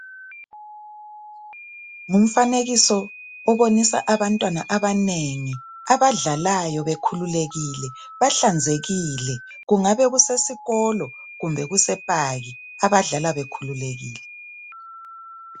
Ngumfanekiso obonisa abantwana abanengi abadlalayo bekhululekile bahlanzekile kungabe kusesikolo kungabe kusesikolo kumbe kuse park abadlala bekhululekile .